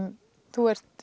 þú ert